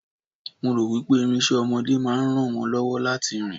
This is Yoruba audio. mo ro wipe irinse ọmọdé ma ran won lọwọ láti rìn